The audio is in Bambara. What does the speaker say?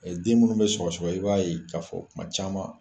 Den minnu bɛ sɔgɔsɔgɔ i b'a ye k'a fɔ kuma caman